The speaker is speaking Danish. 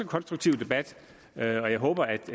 konstruktiv debat og jeg håber at